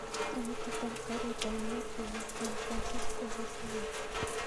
Tiketit ap karit ap maat kepa san fransisco ko siling ata